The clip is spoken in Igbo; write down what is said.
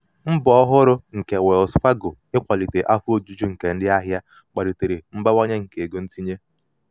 mbọ ọhụrụ nke wells fargo ikwalite afọ ojuju nke ndị ahịa ahịa kpatara mbawanye nke ego ntinye.